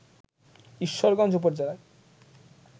ঈশ্বরগঞ্জ উপজেলার